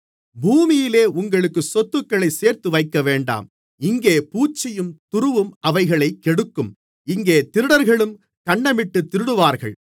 பூமியிலே உங்களுக்கு சொத்துக்களைச் சேர்த்துவைக்கவேண்டாம் இங்கே பூச்சியும் துருவும் அவைகளைக் கெடுக்கும் இங்கே திருடர்களும் கன்னமிட்டுத் திருடுவார்கள்